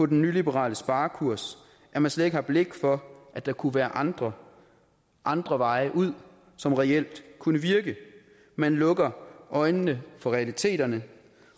den nyliberale sparekurs at man slet ikke har blik for at der kunne være andre andre veje ud som reelt kunne virke man lukker øjnene for realiteterne